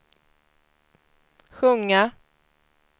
sjunga